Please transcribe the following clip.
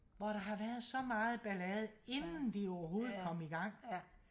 hvor der har været så meget ballade inden de overhovedet kom igang